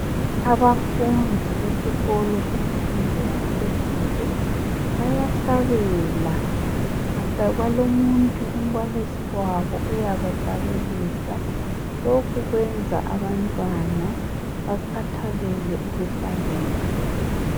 abafundi besikolo layahlabela balomuntu umbalisi wabo uyabahlabelisa lokhu kuyenza abantwana bekhathalele ukuhlabela